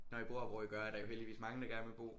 Når I bor hvor I gør er der jo heldigvis mange der gerne vil bo